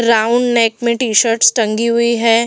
Round neck में T-shirts टंगी हुई है।